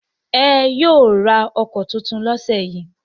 Ẹn, yóò ra ọkọ̀ tuntun lọ́sẹ̀ yìí.